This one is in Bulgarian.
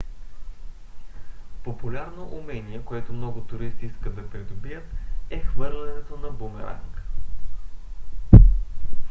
популярно умение което много туристи искат да придобият е хвърлянето на бумеранг